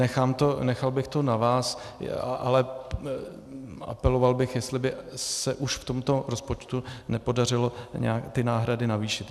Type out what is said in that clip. Nechal bych to na vás, ale apeloval bych, jestli by se už v tomto rozpočtu nepodařilo nějak ty náhrady navýšit.